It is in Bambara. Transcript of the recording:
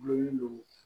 Dulon